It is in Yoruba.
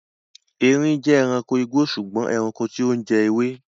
Eerin jẹ́ ẹranko igbó sùgbọ́n ẹranko tí ó ń jẹ ewé.